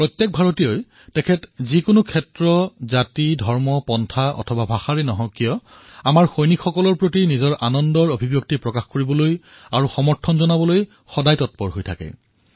প্ৰত্যেক ভাৰতীয়ই যিকোনো জাতি ধৰ্ম পন্থ অথবা ভাষা নিৰ্বিশেষে আমাৰ সৈনিকসমূহৰ প্ৰতি নিজৰ সন্তোষ অভিব্যক্ত আৰু সমৰ্থন প্ৰদৰ্শনৰ বাবে সদায়েই তৎপৰ হৈ থাকে